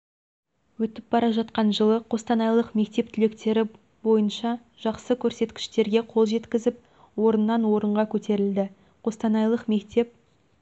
өтіп бара атқан жылы қостанайлық мектеп түлектері бойыншажақсы көрсеткіштерге қол жеткізіп орыннан орынға көтерілді қостанайлық мектеп